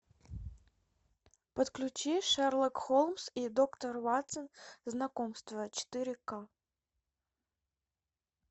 подключи шерлок холмс и доктор ватсон знакомство четыре ка